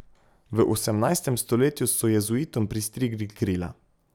V osemnajstem stoletju so jezuitom pristrigli krila.